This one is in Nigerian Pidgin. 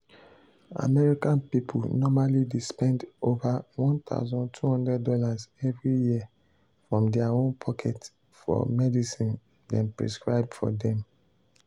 american people normally dey spend over one thousand two hundred dollars every year from their own pocket for medicine dem prescribe for dem.